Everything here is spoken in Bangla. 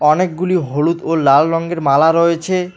অনেকগুলি হলুদ ও লাল রঙ্গের মালা রয়েছে।